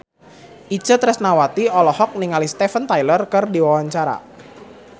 Itje Tresnawati olohok ningali Steven Tyler keur diwawancara